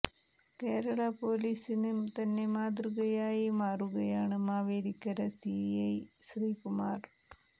കേരള പോലീസിന് തന്നെ മാതൃകയായ് മാറുകയാണ് മാവേലിക്കര സി ഐ ശ്രീകുമാർ